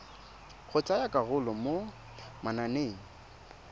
go tsaya karolo mo mananeng